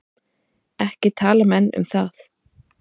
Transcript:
Ekki tala menn um það.